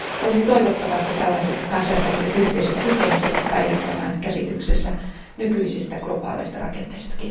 Olisi toivottavaa, että tällaiset kansainväliset yhteisöt kykenisivät päivittämään käsityksensä nykyisistä globaaleista rakenteista.